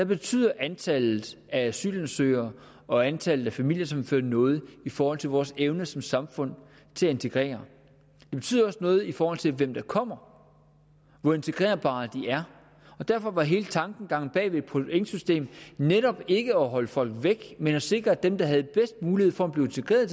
betyder antallet af asylansøgere og antallet af familiesammenføringer noget i forhold til vores evne som samfund til at integrere det betyder også noget i forhold til hvem der kommer og hvor integrerbare de er og derfor var hele tankegangen bag pointsystemet netop ikke at holde folk væk men at sikre at dem der havde bedst mulighed for at blive integreret